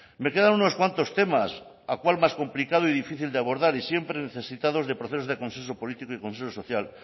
me quedan unos cuantos temas a cual más complicado y difícil de abordar y siempre necesitados de procesos de consenso político y consenso social